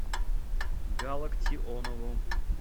галактионову